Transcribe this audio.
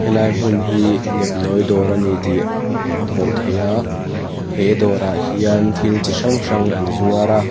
helai hmun hi nepnawi dawr a ni tih a hmuh theia he dawrah hian thil chi hrang hrang an zuar a.